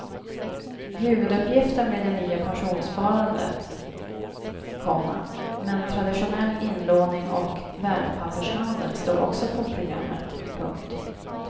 Huvuduppgiften blir det nya pensionssparandet, komma men traditionell inlåning och värdepappershandel står också på programmet. punkt